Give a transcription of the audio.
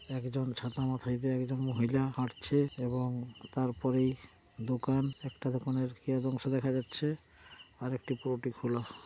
একজন ছাতা মাথায় দিয়ে একজন মহিলা হাঁটছে এবং তারপরেই দোকান একটা দোকানের কিয়দঅংশ দেখা যাচ্ছে ।আর একটি পুরোটি খোলা ।